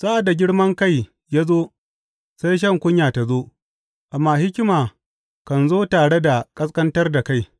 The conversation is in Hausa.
Sa’ad da girman kai ya zo, sai shan kunya ta zo, amma hikima kan zo tare da ƙasƙantar da kai.